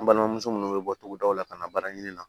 An balimamuso minnu bɛ bɔ togodaw la ka na baara ɲini na